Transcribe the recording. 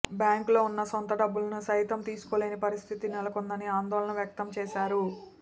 బ్యాంకులో ఉన్న సొంత డబ్బులనుసైతం తీసుకోలేని పరిస్థితి నెలకొందని ఆందోళన వ్యక్తం చేశారు